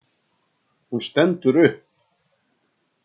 Hún stendur upp.